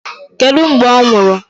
Kedụ mgbe ọ nwụrụ?